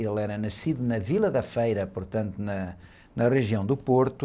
Ele era nascido na Vila da Feira, portanto, na, na região do Porto.